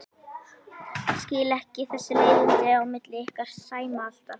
Skil ekki þessi leiðindi á milli ykkar Sæma alltaf.